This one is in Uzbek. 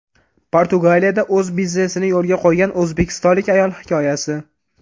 Portugaliyada o‘z biznesini yo‘lga qo‘ygan o‘zbekistonlik ayol hikoyasi.